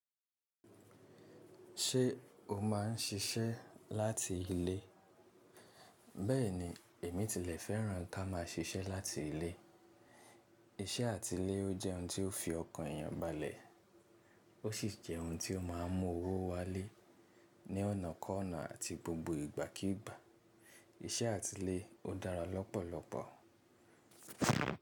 Ṣé o má ń siṣẹ́ láti ilé? Bẹ́ẹ̀ni, èmi tilẹ̀ fẹ́ràn ká má a ṣiṣẹ́ láti ilé. Iṣẹ́ àtilé o jẹ́ ohun tó fi ọkàn èyàn balẹ̀ ó sì jẹ́ ohun ti ó má ń mú owó wálé ní ọ̀nà kọ́ ọ̀nà àti gbogbo ìgbàkígbà. Iṣẹ́ àtilé ó dára lọ́pọ̀lọpọ̀.